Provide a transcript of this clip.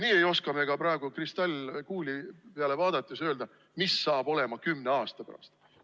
Nii ei oska me ka praegu kristallkuuli peale vaadates öelda, mis saab olema kümne aasta pärast.